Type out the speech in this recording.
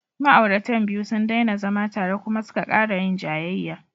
Ma'auratan biyu sun daina zama tare kuma suka ƙara yin jayayya.